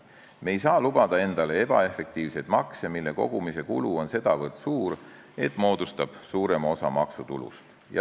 Me ei saa lubada endale ebaefektiivseid makse, mille kogumise kulu on sedavõrd suur, et see moodustab suurema osa maksutulust.